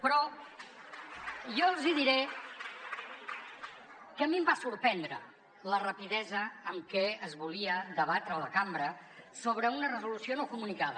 però jo els diré que a mi em va sorprendre la rapidesa amb què es volia debatre a la cambra una resolució no comunicada